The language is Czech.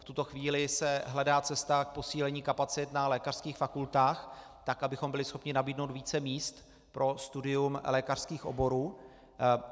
V tuto chvíli se hledá cesta k posílení kapacit na lékařských fakultách, tak abychom byli schopni nabídnout více míst pro studium lékařských oborů.